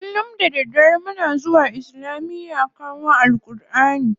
Kullum da daddare muna zuwa islamiya kowan AlƘurʼani.